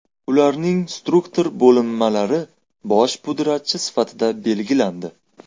Ularning struktur bo‘linmalari bosh pudratchi sifatida belgilandi.